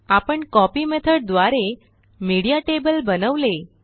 आपणCopy method द्वारे media table बनवले